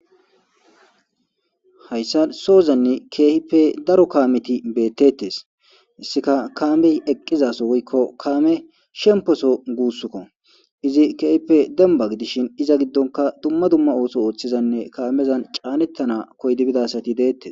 Hayssa soozanne keehippe daro kaameti beettettes. Issika kaamey eqqizaso woykko kaame shemposo guusskko. Izi keehipe demba gidishin iza giddonka dumma dumma ooso ooththizanne kaamezan caanettana koydi bidasati deettes.